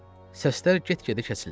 Səslər get-gedə kəsildi.